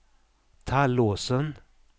Tallåsen